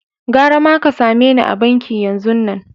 Garama ka same ni a'banki yanzun nan!